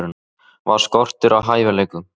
Var skortur á hæfileikum?